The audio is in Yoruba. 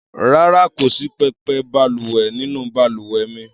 Rárá, kò sí pẹpẹ balùwẹ̀ nínú balùwẹ̀ mi.